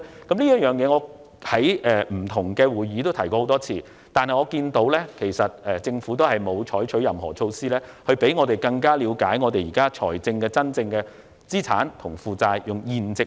我也曾在不同的會議上提出這點，但政府並沒有採取任何措施，以讓我們更了解政府現時的資產和負債現值。